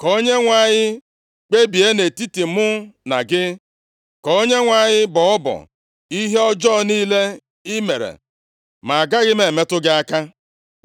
Ka Onyenwe anyị kpebie nʼetiti mụ na gị, ka Onyenwe anyị bọọ ọbọ ihe ọjọọ niile i mere. Ma agaghị m emetụ gị aka.